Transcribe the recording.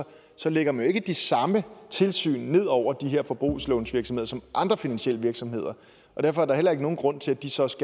så lægger man jo ikke de samme tilsyn ned over de her forbrugslånsvirksomheder som andre finansielle virksomheder og derfor er der heller ikke nogen grund til at de så også